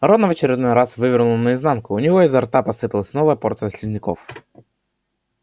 рона в очередной раз вывернуло наизнанку у него изо рта посыпалась новая порция слизняков